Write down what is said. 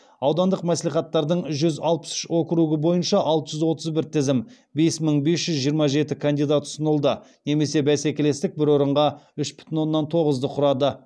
аудандық мәслихаттардың жүз алпыс үш округі бойынша алты жүз алпыс бір тізім бес мың бес жүз жиырма жеті кандидат ұсынылды немесе бәсекелестік бір орынға үш бүтін оннан тоғызды құрады